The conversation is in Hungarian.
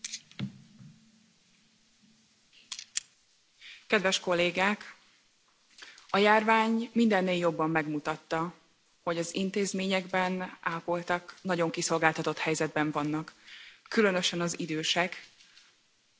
Elnök Asszony! A járvány mindennél jobban megmutatta, hogy az intézményekben ápoltak nagyon kiszolgáltatott helyzetben vannak. Különösen az idősotthonokban történt sok haláleset tavasszal.